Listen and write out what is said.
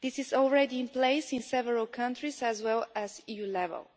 This is already in place in several countries, as well as at EU level.